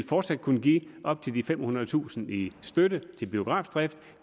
fortsat kunne give op til de femhundredetusind kroner i støtte til biografdrift